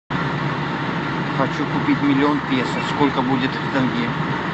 хочу купить миллион песо сколько будет в тенге